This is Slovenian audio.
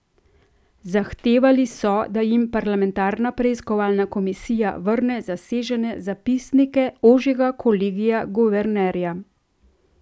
Zahtevali so, da jim parlamentarna preiskovalna komisija vrne zasežene zapisnike ožjega kolegija guvernerja.